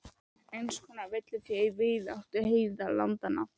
Eins konar villifé í víðáttu heiðalandanna.